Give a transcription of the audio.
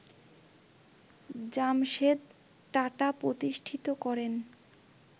জামশেদ টাটা প্রতিষ্ঠিত করেন